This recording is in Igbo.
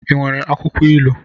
I nwere akwụkwọ ilu?